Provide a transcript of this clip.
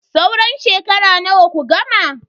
Sauran shekara nawa ku gama?